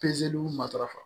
Pezeliw matarafa